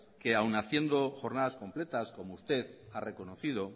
que aún haciendo jornadas completas como usted ha reconocido